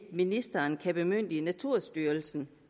ministeren kan bemyndige naturstyrelsen